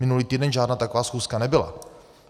Minulý týden žádná taková schůzka nebyla.